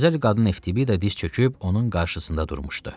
Gözəl qadın Eftibida diz çöküb onun qarşısında durmuşdu.